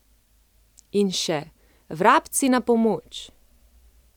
In še: 'Vrabci na pomoč!